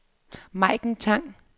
Maiken Tang